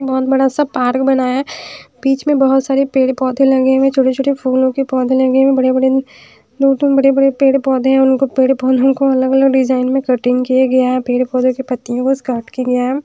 बहोत बड़ा सा पार्क बना है बीच में बहोत सारे पेड़ पौधे लगे हुए है छोटे छोटे फूलों के पौधे लगे है बड़े बड़े बड़े बड़े पेड़ पौधे हैं उनको पेड़ फूलों को अलग अलग डिजाइन में कटिंग किया गया है पेड़ पौधे के पत्तियों बस काट के --